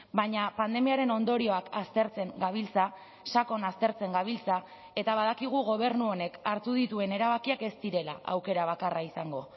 baina pandemiaren ondorioak aztertzen gabiltza sakon aztertzen gabiltza eta badakigu gobernu honek hartu dituen erabakiak ez direla aukera bakarra izango